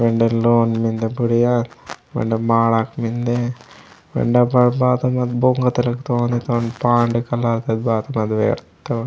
अंडर लोन मिन्दे बुढ़िया मने माडक मिन्दे एंड बात बात मत बोंगत रख दू पांड कलर तक बात मेयवर्थ।